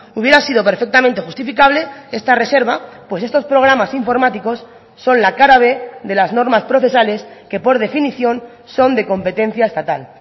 hubiera sido perfectamente justificable esta reserva pues estos programas informáticos son la cara b de las normas procesales que por definición son de competencia estatal